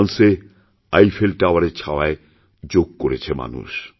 ফ্রান্সে আইফেল টাওয়ারের ছায়ায়যোগ করেছে মানুষ